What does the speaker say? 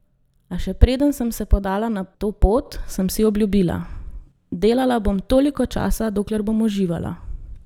A še preden sem se podala na to pot, sem si obljubila: "Delala bom toliko časa, dokler bom uživala.